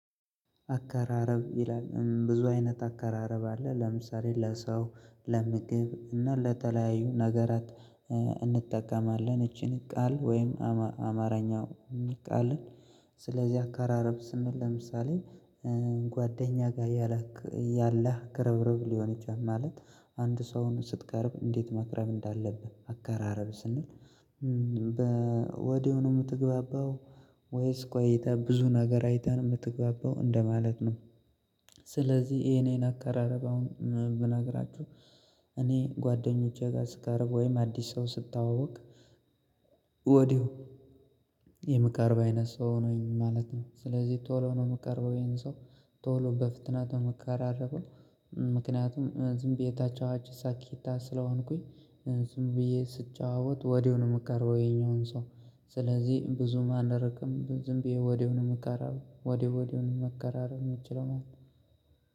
አከራረብ ይላል ብዙ አይነት አከራረብ አለ ለምሳሌ:- ለሰው፥ ለምግብ እና ለተለያዩ ነገራት እንጠቀማለን ይቺን ቃል ወይም አማራኛ ሚል ቃል ስለዚህ አካራረብ ስንል ለምሳሌ- ጓደኛ ጋር ያላህ ከረብረብ ሊሆን ይችላል። ማለት አንድ ሰውን ስትቀርብ እንዴት መቅረብ እንዳለብህ አከራረብ ስንል በወዲያውኑ የምትግባባው? ወይስ ቆይተ ብዙ ነገር አይተህ የምትግባባው እንደማለት ነው። ስለዚህ የኔን አቀራረብ አሁን ብነግራችሁ እኔ ጓደኞቼ ጋር ስካረግ ወይም አዲስ ሰው ስታወቅ ወዲያው የምቃረብ አይነት ሰው ነኝ ማለት ነው። ስለዚህ ቶሎ ነው የምቀርበው ይሄን ሰው፤ ቶሎ በፍጥነት ነው ምቀራረበው። ምክንያቱም ዝም ብዬ ታች አዋጅታ ሳኪታ ስለሆንኩኝ ዝም ብዬ ስጫወት ወዲሁ ነው የምቀረው ይሄኛውን ሰው ስለዚህ ብዙም አንርቅም ዝም ብዬ ወዲሁ ነው የምቀራረበው ወዲሁ ወዲሁ ነው መከራረብ የምትችለው ማለት ነው